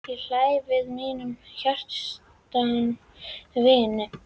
Ég hlæ við mínum hjartans vini.